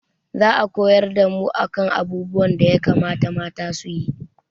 Za a koyar da mu a kan abubuwan da ya kamata mata su yi